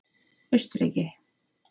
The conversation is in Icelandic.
Austurríki